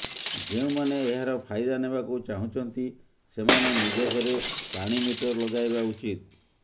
ଯେଉଁମାନେ ଏହାର ଫାଇଦା ନେବାକୁ ଚାହୁଁଛନ୍ତି ସେମାନେ ନିଜ ଘରେ ପାଣି ମିଟର ଲଗାଇବା ଉଚିତ